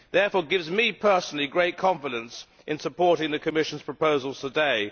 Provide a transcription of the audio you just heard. It therefore gives me personally great confidence in supporting the Commission's proposals today.